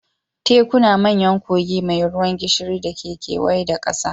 Tekuna manyan kogi mai ruwan gishiri da ke kewaye da ƙasa